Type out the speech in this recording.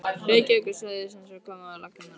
Reykjavíkursvæðisins var komið á laggirnar á